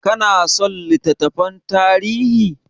Ka na son littattafan tarihi?